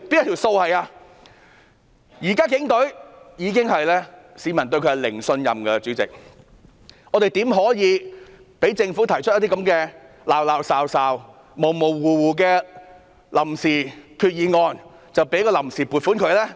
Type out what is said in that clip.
現時市民對警隊已是零信任，主席，我們豈可讓政府提出這種模模糊糊的決議案，批准臨時撥款呢？